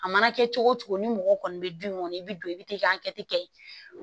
A mana kɛ cogo cogo ni mɔgɔ kɔni bɛ dun kɔni i bɛ don i bɛ t'i ka hakɛ kɛ